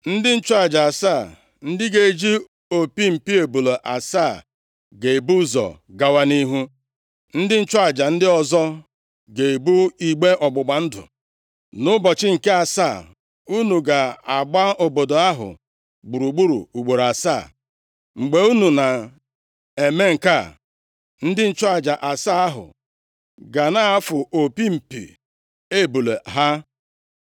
Ndị nchụaja asaa, ndị ga-eji opi mpi ebule asaa ga-ebu ụzọ gawa nʼihu. Ndị nchụaja ndị ọzọ ga-ebu igbe ọgbụgba ndụ. Nʼụbọchị nke asaa, unu ga-agba obodo ahụ gburugburu ugboro asaa. Mgbe unu na-eme nke a, ndị nchụaja asaa ahụ ga na-afụ opi mpi ebule ha.